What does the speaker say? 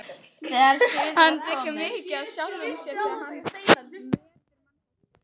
Hann tekur mið af sjálfum sér þegar hann metur mannfólkið.